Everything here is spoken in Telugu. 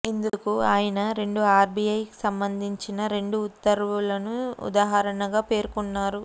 ఇందుకు ఆయన రెండు ఆర్బీఐకి సంబంధించిన రెండు ఉత్తర్వులను ఉదాహరణగా పేర్కొన్నారు